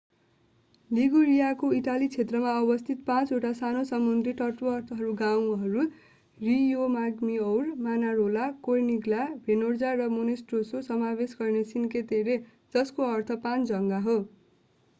लिगुरियाको Italy क्षेत्रमा अवस्थित पाँचवटा सानो समुद्री तटवर्ती गाउँहरू रियोमाग्गीओर मानारोला कोर्निग्ला भेर्नाजा र मोन्टेरोस्सो समावेश गर्ने सिन्के टेरे जसको अर्थ पाँच जग्गा हो